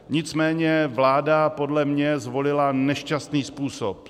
Nicméně vláda podle mě zvolila nešťastný způsob.